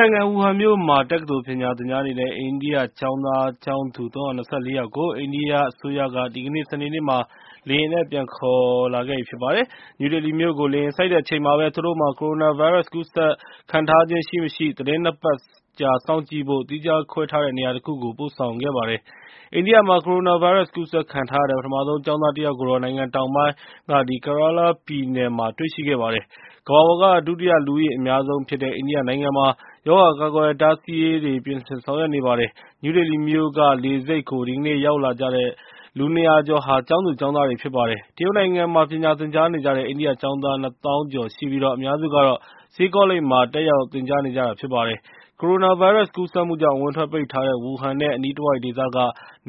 နိုင်ငံ၊ ဝူဟန်မြို့မှာ တက္ကသိုလ်ပညာ သင်ကြားနေတဲ့ အိန္ဒိယကျောင်းသူကျောင်းသား ၃၂၄ ယောက်ကို အိန္ဒိယအစိုးရက ဒီကနေ့ စနေနေ့မှာ လေယာဉ်နဲ့ ပြန်ခေါ်လာပါပြီ။ နယူးဒေလီမြို့ကို လေယာဉ်ဆိုက်တဲ့ အချိန်မှာပဲ သူတို့မှာ ကိုရိုနာဗိုင်းရပ်စ် ကူးစက်ခံထားရခြင်း ရှိမရှိ သီတင်း ၂ ပတ်ကြာ စောင့်ကြည့်ဖို့ သီးခြားခွဲထားတဲ့ နေရာတခုကို ပို့ဆောင်ခဲ့တာပါ။ အိန္ဒိယမှာ ကိုရိုနာဗိုင်းရပ်စ် ကူးစက်ခံထားရတဲ့ ပထမဆုံး ကျောင်းသားတယောက်ကိုတော့ နိုင်ငံတောင်ပိုင်း Kerala ပြည်နယ်မှာ တွေ့ရှိခဲ့ပါတယ်။ ကမ္ဘာပေါ်က ဒုတိယ လူဦးရေအများဆုံးဖြစ်တဲ့ အိန္ဒိယနိုင်ငံမှာ ရောဂါကာကွယ်တားဆီးရေး ပြင်ဆင်ဆောင်ရွက်နေပါပြီ။ နယူးဒေလီမြို့က လေဆိပ်ကို ဒီကနေ့ ရောက်လာကြတဲ့ လူ ၂၀၀ ကျော်ဟာ ကျောင်းသူကျောင်းသားတွေ ဖြစ်ပါတယ်။ တရုတ်နိုင်ငံမှာ ပညာသင်ကြားနေကြတဲ့ အိန္ဒိယကျောင်းသား ၂ သောင်းကျော်ရှိပြီး အများစုကတော့ ဆေးကောလိပ်မှာ တက်ရောက်သင်ကြားနေကြတာ ဖြစ်ပါတယ်။ ကိုရိုနာဗိုင်းရပ်စ် ကူးစက်မှုကြောင့် အဝင်အထွက်ပိတ်ထားတဲ့ ဝူဟန်နဲ့ အနီးတဝိုက် ဒေသက